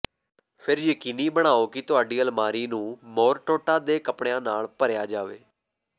ਫਿਰ ਯਕੀਨੀ ਬਣਾਓ ਕਿ ਤੁਹਾਡੀ ਅਲਮਾਰੀ ਨੂੰ ਮੌਰਟੋਟਾ ਦੇ ਕਪੜਿਆਂ ਨਾਲ ਭਰਿਆ ਜਾਵੇ